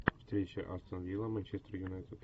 встреча астон вилла манчестер юнайтед